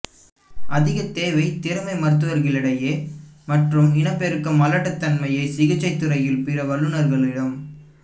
அதிக தேவை திறமை மருத்துவர்களிடையே மற்றும் இனப்பெருக்க மலட்டுத்தன்மையை சிகிச்சை துறையில் பிற வல்லுநர்களிடம்